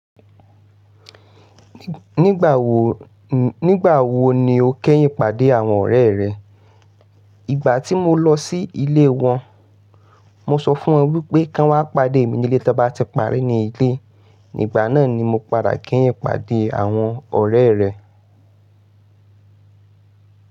Nígbà wo, nígbà wo ni o kẹ́yìn pàdé àwọn ọ̀rẹ́ rẹ? Ìgbà tí mo lọ sí ilé wọn. Mo sọ fún wọn wípé kí wọn pàdé mi nílé tí wón bá ti parí ní ilé. Ígbà náà ni mo padà kẹ̀yìn pàdé àwọn ọ̀rẹ́ rẹ.